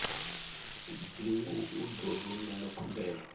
dzingu u ḓo rumela khumbelo